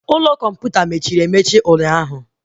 Ime ụlọ kọmputa mechiri emechi ụnyaahụ